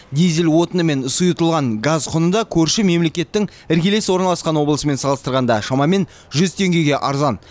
дизель отыны мен сұйытылған газ құны да көрші мемлекеттің іргелес орналасқан облысымен салыстырғанда шамамен жүз теңгеге арзан